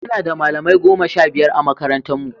Muna da malamai goma sha biyar a makarantarmu.